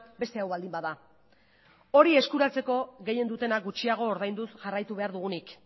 beste hau baldin bada hori eskuratzeko gehien dutenak gutxiago ordainduz jarraitu behar dugunik